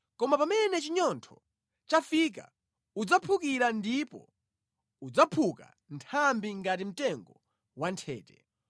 koma pamene chinyontho chafika udzaphukira ndipo udzaphuka nthambi ngati mtengo wanthete.